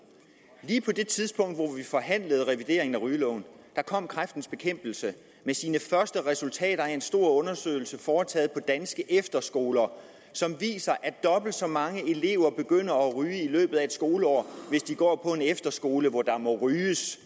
lige på det tidspunkt hvor vi forhandlede om revideringen af rygeloven kom kræftens bekæmpelse med sine første resultater af en stor undersøgelse foretaget på danske efterskoler som viser at dobbelt så mange elever begynder at ryge i løbet af skoleår hvis de går på en efterskole hvor der må ryges